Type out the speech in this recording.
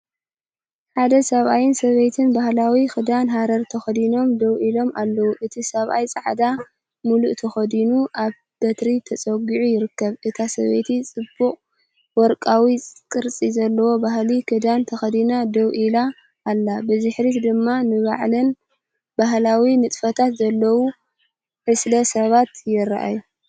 ሓደ ሰብኣይን ሰበይትን ባህላዊ ክዳን ሃረር ተኸዲኖም ደው ኢሎም ኣለዉ። እቲ ሰብኣይ ጻዕዳ ሙሉእተኸዲኑ፡ኣብ በትሪ ተጸጊዑ ይርከብ። እታ ሰበይቲ ጽቡቕ ወርቃዊ ቅርጺ ዘለዎ ባህላዊ ክዳን ተኸዲና ደው ኢላ ኣላ። ብድሕሪት ድማ ንበዓልን ባህላዊ ንጥፈታትን ዝዳለዉ ዕስለ ሰባት ይረኣዩ።